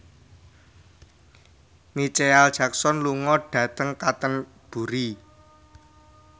Micheal Jackson lunga dhateng Canterbury